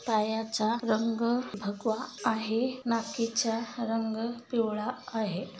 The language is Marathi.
पायाचा रंग भगवा आहे नाकीचा रंग पिवळा आहे.